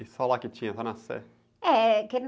E só lá que tinha, só na Sé?h, é que...